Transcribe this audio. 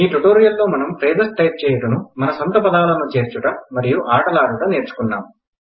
ఈ టుటోరియల్ లో మనం ఫ్రేసస్ టైప్ చేయుటను మన సొంత పదాలను చేర్చుట మరియు ఆటలాడుట నేర్చుకున్నాం